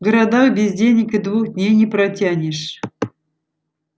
в городах без денег и двух дней не протянешь